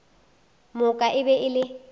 moka e be e le